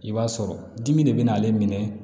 I b'a sɔrɔ dimi de bɛ n'ale minɛ